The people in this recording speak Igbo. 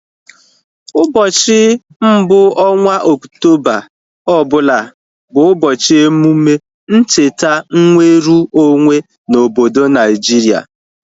Ụbọchị mbụ ọnwa Okutoba ọbụla bụ ụbọchị emume ,ncheta nweru onwe na obodo Naijiria